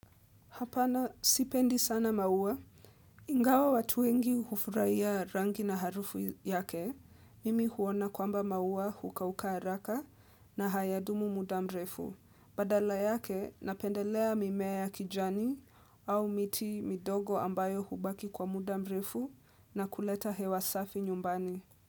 Hapana, sipendi sana maua. Ingawa watu wengi hufurahia rangi na harufu yake, mimi huona kwamba maua hukauka haraka na hayadumu muda mrefu. Badala yake, napendelea mimea ya kijani au miti midogo ambayo hubaki kwa muda mrefu na kuleta hewa safi nyumbani.